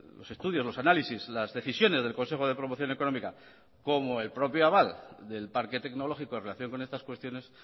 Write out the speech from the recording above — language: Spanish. los estudios los análisis las decisiones del consejo de promoción económica como el propio aval del parque tecnológico en relación con estas cuestiones